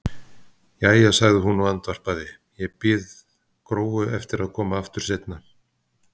Jæja, sagði hún og andvarpaði, ég bið Gróu að koma aftur seinna.